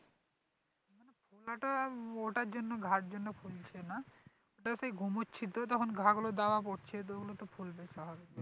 ফোলাটা ওটার জন্য ঘায়ের জন্য ফুলছে না ওটাতে ঘুমোচ্ছি তো তখন ঘা গুলো জ্বালা করছে ওগুলো তো ফুলবে তাহলে